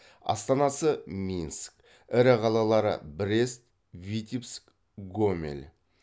астанасы минск ірі қалалары брест витебск гомель